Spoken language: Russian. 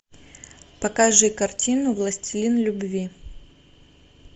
покажи картину властелин любви